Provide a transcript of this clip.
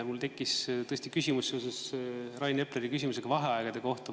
Mul tekkis küsimus seoses Rain Epleri küsimusega vaheaegade kohta.